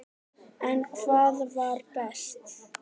En hvað var best?